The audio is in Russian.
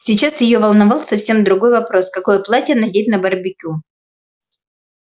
сейчас её волновал совсем другой вопрос какое платье надеть на барбекю